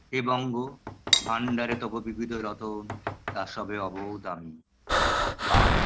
হে বঙ্গ ভাণ্ডারে তব বিবিধ রতন তা সবে অবোধ আমি বা